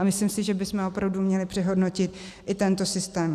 A myslím si, že bychom opravdu měli přehodnotit i tento systém.